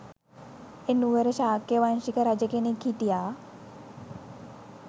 එනුවර ශාක්‍ය වංශික රජ කෙනෙක් හිටියා